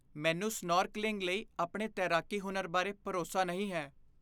ਮੈਨੂੰ ਸਨੌਰਕਲਿੰਗ ਲਈ ਆਪਣੇ ਤੈਰਾਕੀ ਹੁਨਰ ਬਾਰੇ ਭਰੋਸਾ ਨਹੀਂ ਹੈ।